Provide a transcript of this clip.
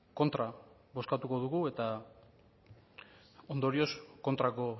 kontra bozkatuko dugu eta ondorioz kontrako